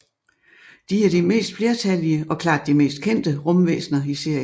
De er de mest flertallige og klart de mest kendte rumvæsner i serien